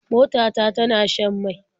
Mota ta tana shan mai.